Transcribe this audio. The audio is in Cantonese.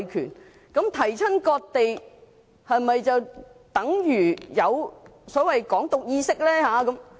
是否只要提及"割地"，便等於有所謂的"港獨"意識？